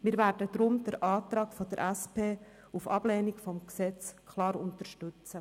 Deshalb werden wir den Antrag der SP-JUSO-PSA-Fraktion auf Ablehnung des Gesetzes klar unterstützen.